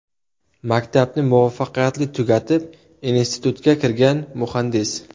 Maktabni muvaffaqiyatli tugatib, institutga kirgan, muhandis.